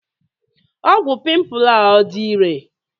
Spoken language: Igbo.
Ọgwụ pimpu a ọ dị irè?